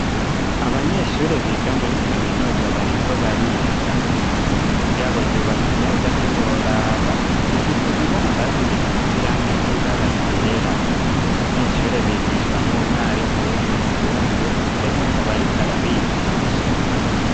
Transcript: abanyeshure biga muri kaminuza bariko bariga isomero ryabo ryubatse neza ntiworaba rifise ibibambazi bisize irangi ry'ibara ryera abo banyeshure bigishwa n'umwarimu w'umuzungu ndetse akaba ariko arabigisha